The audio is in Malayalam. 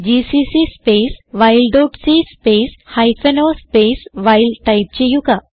GCC space while dot c space hyphen o space while type ചെയ്യുക